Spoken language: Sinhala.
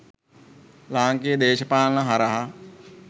ලාංකීය දේශපාලනය හරහා